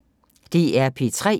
DR P3